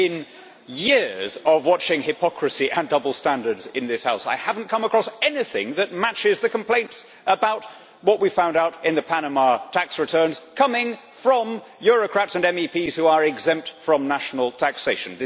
In years of watching hypocrisy and double standards in this House, I have not come across anything that matches the complaints about what we found out in the Panama tax returns, coming from bureaucrats and MEPs who are exempt from national taxation.